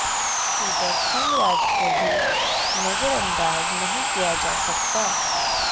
Peter Thangaraj को भी नजरंदाज नहीं किया जा सकता